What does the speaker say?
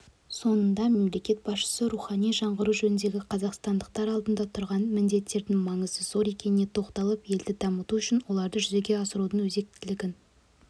соңында мемлекет басшысы рухани жаңғыру жөніндегі қазақстандықтар алдында тұрған міндеттердің маңызы зор екеніне тоқталып елді дамыту үшін оларды жүзеге асырудың өзектілігін